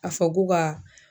A fɔ k'o ka